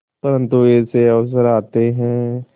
परंतु ऐसे अवसर आते हैं